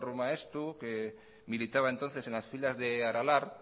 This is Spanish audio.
maeztu que militaba entonces en las filas de aralar